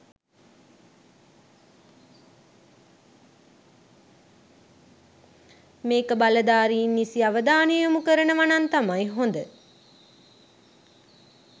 මේක බලධාරීන් නිසි අවධානය යොමු කරනවනම් තමයි හොඳ